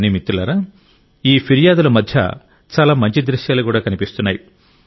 కానీ మిత్రులారా ఈ ఫిర్యాదుల మధ్య చాలా మంచి దృశ్యాలు కూడా కనిపిస్తున్నాయి